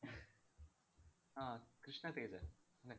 അഹ് കൃഷ്ണ തേജാ അല്ലേ.